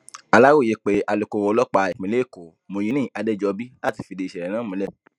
aláròye pé alukoro ọlọpàá ìpínlẹ èkó muyini adéjọba láti fìdí ìṣẹlẹ náà múlẹ